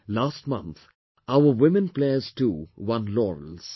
Last month our Women players too won laurels